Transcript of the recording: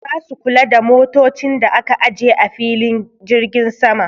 Za su kula da motocin da aka aje a filin jirgin sama.